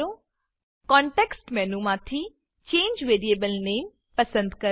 context મેનુમાંથી change variable નામે change variable name પસંદ કરો